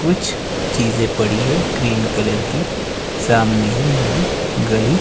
कुछ चीज पड़ी है ग्रीन कलर की सामने ही हमें गली--